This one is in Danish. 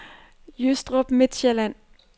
Jystrup Midtsjælland